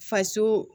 Faso